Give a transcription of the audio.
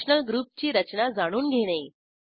functional ग्रुपची रचना जाणून घेणे